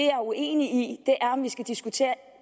er uenig i er om vi skal diskutere